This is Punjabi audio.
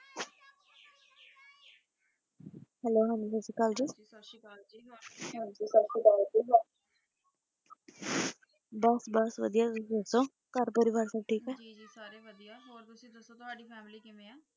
Hello ਹਾਂਜੀ ਸਾਸਰੀਕਾਲ ਜੀ ਸਾਸਰੀਕਾਲ ਜੀ ਹਾਂਜੀ ਸਾਸਰੀਕਾਲ ਜੀ ਬਾਸ ਬੋਹਤ ਵਾਦਿਯ ਤੁਸੀਂ ਦਸੋ ਘਰ ਦੇ ਪਰਿਵਾਰ ਸਬ ਠੀਕ ਆਯ ਜੀ ਜੀ ਸਾਰੇ ਵਾਦਿਯ ਹੋਰ ਤੁਸੀਂ ਦਸੋ ਤਵਾਦੀ ਫੈਮਿਲੀ ਕਿਵੇਂ